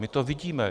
My to vidíme.